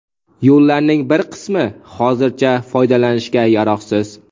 Yo‘llarning bir qismi hozircha foydalanishga yaroqsiz.